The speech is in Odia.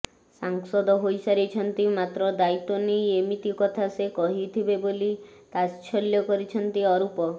ସାଂସଦ ହୋଇସାରିଛନ୍ତି ମାତ୍ର ଦାୟିତ୍ବ ନେଇ ଏମିତି କଥା ସେ କହିଥିବେ ବୋଲି ତାଚ୍ଛଲ୍ୟ କରିଛନ୍ତି ଅରୁପ